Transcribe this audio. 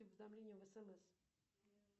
уведомления в смс